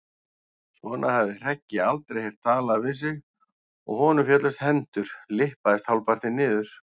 Svona hafði Hreggi aldrei heyrt talað við sig og honum féllust hendur, lyppaðist hálfpartinn niður.